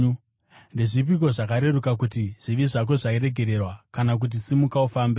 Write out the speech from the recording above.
Ndezvipiko zvakareruka: kuti, ‘Zvivi zvako zvaregererwa,’ kana kuti, ‘Simuka ufambe’?